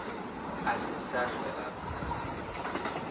a se sa hlwe a